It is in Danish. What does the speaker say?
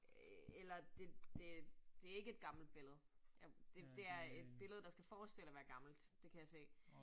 Øh eller det det det ikke et gammelt billede. Jeg det det er et billede, der skal forestille at være gammelt. Det kan jeg se